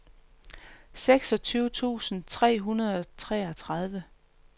seksogtyve tusind tre hundrede og treogtredive